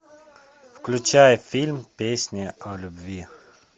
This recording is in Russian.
включай фильм песня о любви